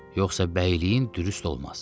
Yoxsa bəyliyin dürüst olmaz.